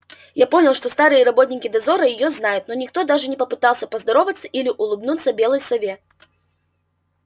я понял что старые работники дозора её знают но никто даже не попытался поздороваться или улыбнуться белой сове